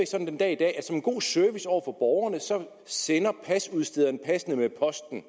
sådan den dag i dag at som en god service over for borgerne sender pasudstederne passene med posten